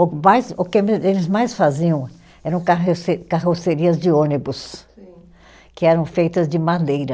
Mas o que me, eles mais faziam eram carroce carrocerias de ônibus. Sim. Que eram feitas de madeira.